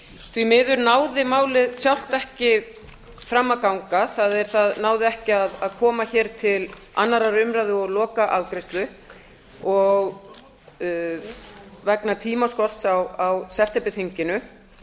því miður náði málið sjálft ekki fram að ganga það er það náði ekki að koma til annarrar umræðu og lokaafgreiðslu vegna tímaskorts á septemberþinginu